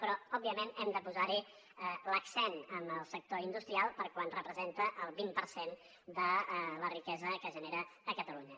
però òbviament hem de posar hi l’accent en el sector industrial perquè representa el vint per cent de la riquesa que genera a catalunya